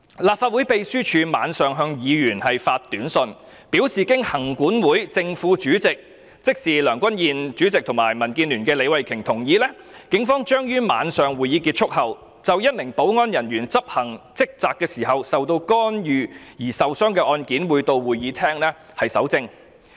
立法會秘書處當晚向議員發出短訊，表示經立法會行政管理委員會正、副主席同意——即梁君彥主席及民主建港協進聯盟的李慧琼議員，警方將於晚上會議結束後，就一名保安人員執行職責時受到干擾而受傷的案件，到會議廳蒐證。